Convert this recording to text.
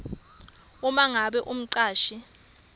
uma ngabe umcashi